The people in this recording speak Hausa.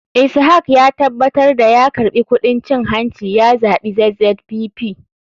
Ishak ya tabatar da ya karɓi kuɗin cin hanci ya zaɓi zzpp.